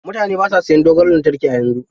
Mutane ba sa sayan dogon lantarki yanzu.